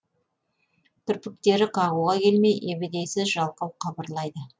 кірпіктері қағуға келмей ебедейсіз жалқау қыбырлайды